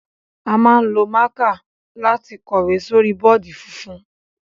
A máa ń lo mạ̀kạ lati kọ̀wé sórí bọọdi funfun.